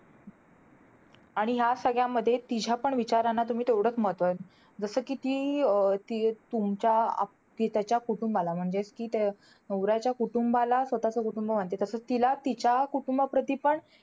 आणि ह्या सगळ्यामध्ये तिच्यापण विचारांना तुम्ही तेवढंच महत्व. जसं कि ती अं ती तुमच्या आप~ ती त्याच्या कुटुंबाला. म्हणजे ती त्या~ नवऱ्याच्या कुटुंबाला, स्वतःचं कुटुंब मानते. तसंच तिला तिच्या कुटुंबाप्रती पण,